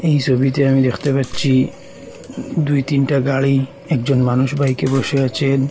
এই সবিতে আমি দেখতে পাচ্ছি দুই তিনটা গাড়ি একজন মানুষ বাইক -এ বসে আছেন।